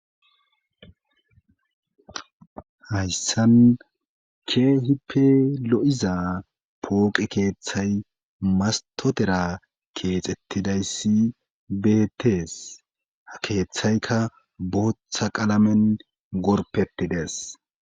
Hayssan kehipe lo'iza pooqe keeththay mastotera keexettidayssi betees ha keeththaykka booththa qalamen gorpetides.